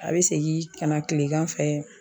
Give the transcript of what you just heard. A bɛ segin ka na kilegan fɛ.